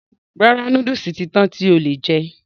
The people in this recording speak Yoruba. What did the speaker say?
Rárá, núdùsù ti tán tí o lè jẹ.